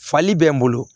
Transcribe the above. Fali bɛ n bolo